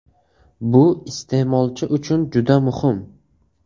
Bu iste’molchi uchun juda muhim.